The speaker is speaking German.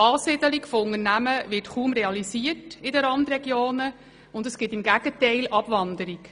Dort wird eine Ansiedlung von Unternehmen kaum realisiert, vielmehr gibt es Abwanderungen.